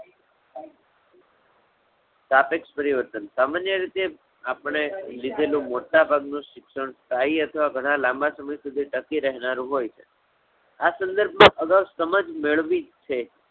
સાપેક્ષ પરિવર્તન. સામાન્ય રીતે આપણે લીધેલું મોટાભાગ નું શિક્ષણ સ્થાયી અથવા ઘણા લાંબા સમય સુધી ટકી રહેનારું હોય આ સંદર્ભ માં અગાઉ સમાજ મેળવી જ છે.